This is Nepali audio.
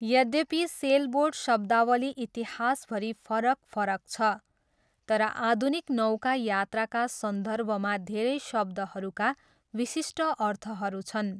यद्यपि सेलबोट शब्दावली इतिहासभरि फरक फरक छ, तर आधुनिक नौका यात्राका सन्दर्भमा धेरै शब्दहरूका विशिष्ट अर्थहरू छन्।